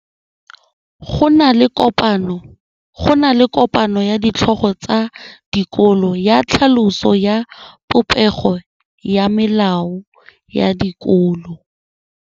Go na le kopanô ya ditlhogo tsa dikolo ya tlhaloso ya popêgô ya melao ya dikolo.